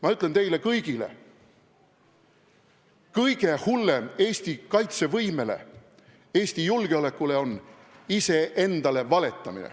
Ma ütlen teile kõigile: kõige hullem Eesti kaitsevõimele, Eesti julgeolekule on iseendale valetamine.